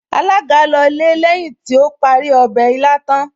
Alága lọlé lẹ́yìn tí ó parí ọbẹ̀ ilá tán